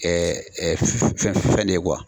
fɛn de ye